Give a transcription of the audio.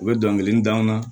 U bɛ dɔnkili d'anw ma